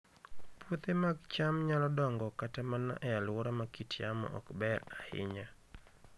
Puothe mag cham nyalo dongo kata mana e alwora ma kit yamo ok ber ahinya